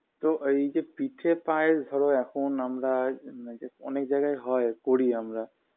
তো এইযে পিঠে পায়েস ধর এখন আমরা ম এইজে অনেক জায়গায় হয় করি আমরা